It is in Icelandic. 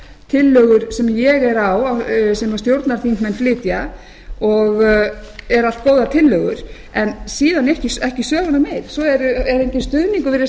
tillögur sem ég er á sem stjórnarþingmenn flytja og eru allt góðar tillögur en síðan ekki söguna meir svo er enginn stuðningur virðist